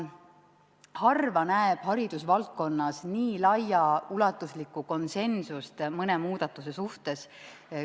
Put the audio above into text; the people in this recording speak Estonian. Harva näeb haridusvaldkonnas nii laiaulatuslikku konsensust mõne muudatuse suhtes.